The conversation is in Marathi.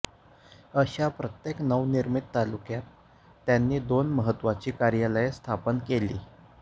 अशा प्रत्येक नवनिर्मित तालुक्यात त्यांनी दोन महत्त्वाची कार्यालये स्थापन केली